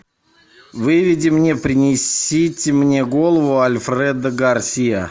выведи мне принесите мне голову альфредо гарсиа